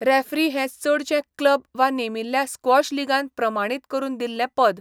Referee हें चडशें club वा नेमिल्ल्या स्क्वॉश लीगान प्रमाणीत करून दिल्लें पद.